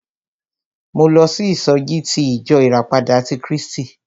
Mo lọ sí ìsọjí ti ìjọ ìràpadà ti Krístì.